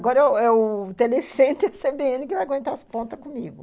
Agora é o telecentro e a cê bê ene que vão aguentar as pontas comigo.